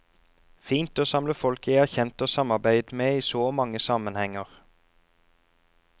Fint å samle folk jeg har kjent og samarbeidet med i så mange sammenhenger.